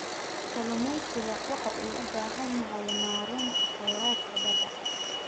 Kalluumaysigu wuxuu u baahan yahay maaraynta kheyraadka badda.